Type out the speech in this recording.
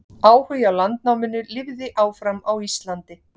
Áhugi á landnáminu lifði áfram á Íslandi.